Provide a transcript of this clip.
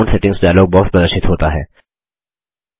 account settings dialog box प्रदर्शित होता है